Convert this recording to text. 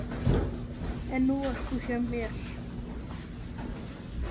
En nú ert þú hjá mér.